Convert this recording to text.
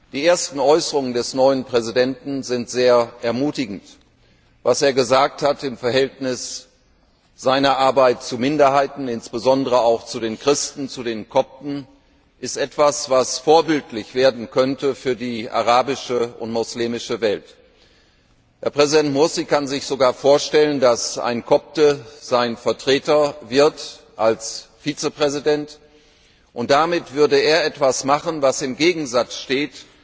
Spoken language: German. Die ersten Äußerungen des neuen Präsidenten sind sehr ermutigend. Was er gesagt hat zu seinem Verhältnis zu Minderheiten, insbesondere auch zu den Christen, zu den Kopten, ist etwas, was vorbildlich werden könnte für die arabische und muslimische Welt. Herr Präsident Mursi kann sich sogar vorstellen, dass ein Kopte als Vizepräsident sein Vertreter wird, und damit würde er etwas machen, was im Gegensatz steht